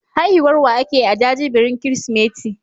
Haihuwar wa ake yi a jajibirin Kirsimeti?